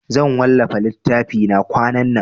Zan wallafa littafina kwanan nan.